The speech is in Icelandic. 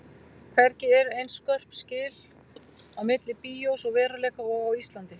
Hvergi eru eins skörp skil á milli bíós og veruleika og á Íslandi.